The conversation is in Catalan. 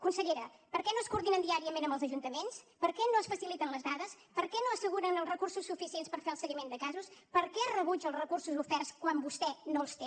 consellera per què no es coordinen diàriament amb els ajuntaments per què no es faciliten les dades per què no asseguren els recursos suficients per fer el seguiment de casos per què es rebutgen els recursos oferts quan vostè no els té